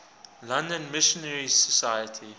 london missionary society